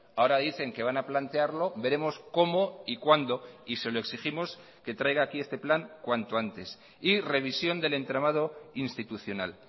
ahora dicen que van a plantearlo veremos cómo y cuándo y se lo exigimos que traiga aquí este plan cuanto antes y revisión del entramado institucional